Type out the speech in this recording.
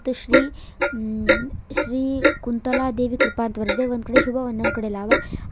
ಶ್ರೀ ಶ್ರೀ ಕುಂತಲಾದೇವಿ ಕೃಪಾ ಅಂತ್ ಬರ್ದಿದೆ ಒಂದು ಕಡೆ ಶುಭ ಒಂದು ಕಡೆ ಲಾಭ ಅದ--